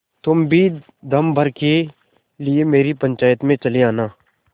तुम भी दम भर के लिए मेरी पंचायत में चले आना